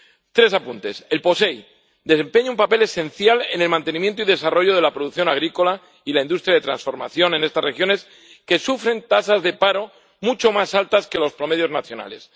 Tres apuntes. El POSEI desempeña un papel esencial en el mantenimiento y desarrollo de la producción agrícola y la industria de transformación en estas regiones, que sufren tasas de paro mucho más altas que los promedios nacionales.